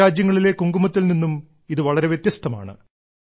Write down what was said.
മറ്റു രാജ്യങ്ങളിലെ കുങ്കുമത്തിൽ നിന്നും ഇത് വളരെ വ്യത്യസ്തമാണ്